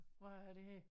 Hvad er det her